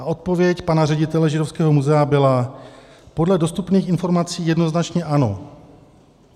A odpověď pana ředitele Židovského muzea byla: "Podle dostupných informací jednoznačně ano."